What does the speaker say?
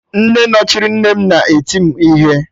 Nne nọchiri nne m na-eti m ihe